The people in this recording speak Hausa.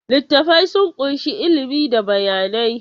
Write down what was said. Littattafai sun ƙunshi ilimi ko bayanai.